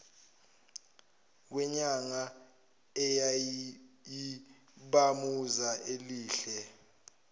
kwenyanga eyayiyibhamuza elihle